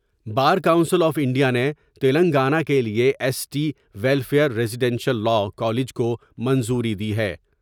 Bar Council of India نے تلنگانہ کے لئے S T welfare residential law college کو منظوری دی ہے ۔